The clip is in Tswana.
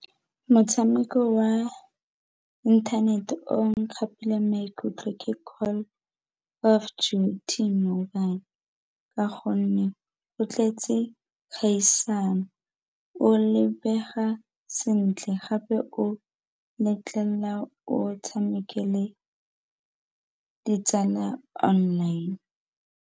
Motshameko wa inthanete o nkgapileng maikutlo ke Call of Duty mobile ka gonne o tletse kgaisano, o lebega sentle gape o letlelela o tshameke le ditsala online.